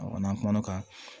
n'an kumana o kan